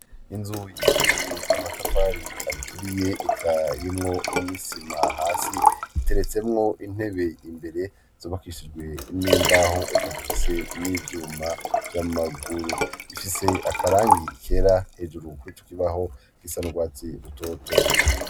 inzu yubakikije amatafari aturiye, ikaba irimwo n'isima hasi, iteretsemwo intebe imbere, zubakishijwe n'imbaho, eka zifise n'ivyuma vy'amaguru. ifise akarangi kera hejuru ku'ico kibaho, gisa n'urwatsi rutoto.